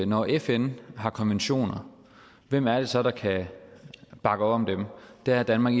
når fn har konventioner hvem er det så der kan bakke op om dem der er danmark